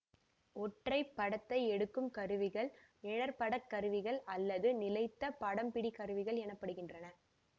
ஒற்றை படத்தை எடுக்கும் கருவிகள் நிழற்படக் கருவிகள் அல்லது நிலைத்த படம்பிடிகருவிகள் எனப்படுகின்றன